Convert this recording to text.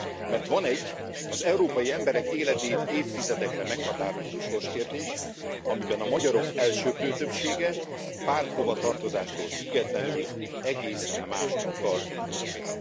Mert van egy, az európai emberek életét évtizedekre meghatározó sorskérdés, amiben a magyarok elsöprő többsége párthovatartozástól függetlenül egészen mást akar, mint Önök.